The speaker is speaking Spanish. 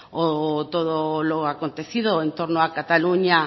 o todo lo acontecido entorno a cataluña